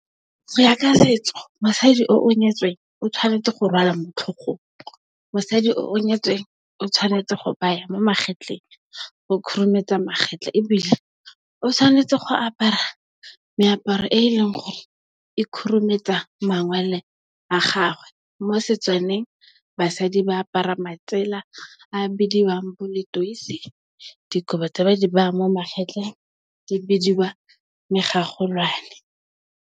Go ya ka setso mosadi o o nyetsweng o tshwanetse go rwala motlhogong, mosadi o o nyetsweng o tshwanetse go baya mo magetleng, go khurumetsa magetla, ebile, o tshwanetse go apara meaparo e leng gore e khurumetsa mangwele a gagwe. Mo Setswaneng basadi ba apara matsela a bidiwang bo Letoise, dikobo tse ba di beyang mo magetleng di bidiwa Megagolwane.